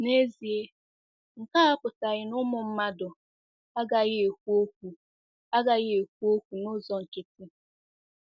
N'ezie, nke a apụtaghị na ụmụ mmadụ agaghị ekwu okwu agaghị ekwu okwu n'ụzọ nkịtị.